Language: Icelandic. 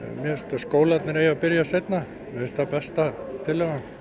skólarnir eigi að byrja seinna mér finnst það besta tillagan